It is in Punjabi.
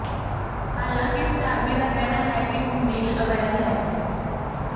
ਹਾਲਾਂਕਿ ਸਟਾਰਮੀ ਦਾ ਕਹਿਣਾ ਹੈ ਕਿ ਹੁਣ ਡੀਲ ਅਵੈਧ ਹੈ